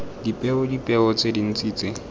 dipeo dipeo tse dintse tse